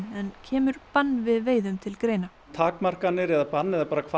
en kemur bann við veiðum til greina takmarkanir eða bann eða bann